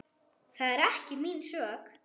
Það er ekki mín sök.